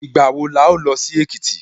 Ìgbà wo la ó lọ sí Èkìtì?